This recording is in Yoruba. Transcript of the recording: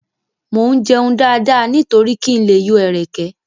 Mo ń jẹun dáadáa nítorí kí n lè yọ ẹ̀rẹ̀kẹ́.